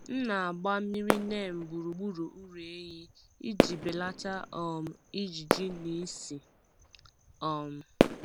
M na-agba mmiri neem gburugburu ụlọ ehi iji belata um ijiji na ísì. um